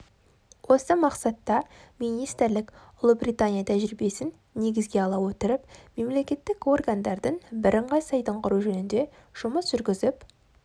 осы мақсатта министрлік ұлыбритания тәжірибесін негізге ала отырып мемлекеттік органдардың бірыңғай сайтын құру жөнінде жұмыс жүргізіп